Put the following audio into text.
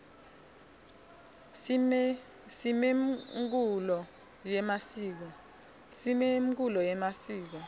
simemkulo yemasiko